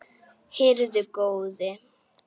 Heyrðu góði.